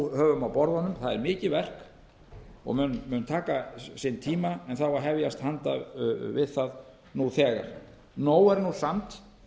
á borðunum það er mikið verk og mun taka sinn tíma en það á að hefjast handa við það nú þegar nóg er nú samt